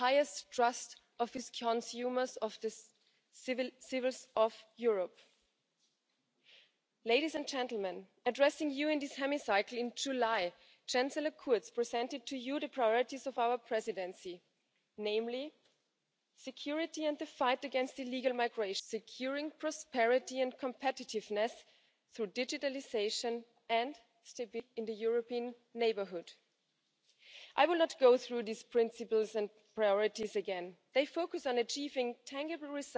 haben und wir die Dinge hier nicht regeln können. Deswegen von meiner Seite her große Unterstützung in Richtung der Europäischen Kommission. Geschätzte Vertreterin des Rates! Ich wünsche mir, dass im Rat diese Vorschläge von Kommissionspräsident Juncker aufgegriffen werden, dass Sie im Rat darüber diskutieren, dass endlich die Europäische Union in die Lage versetzt wird, die Anforderungen und Wünsche der Bürgerinnen und Bürger zu erfüllen, damit die Zufriedenheit mit der Europäischen Union steigt und wir dieses Gesamtprojekt erfolgreich im Interesse der Bürgerinnen und Bürger weiter entwickeln können.